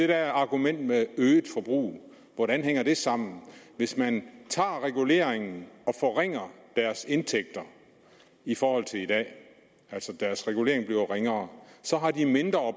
der argument med øget forbrug hvordan hænger det sammen hvis man tager reguleringen og forringer deres indtægter i forhold til i dag hvis deres reguleringer altså bliver ringere så har de et mindre